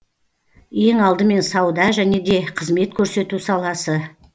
ең алдымен сауда және де қызмет көрсету саласы